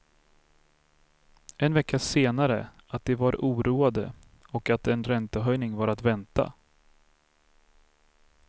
En vecka senare att de var oroande och att en räntehöjning var att vänta.